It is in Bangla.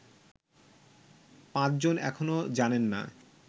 পাঁচজন এখনো জানেন না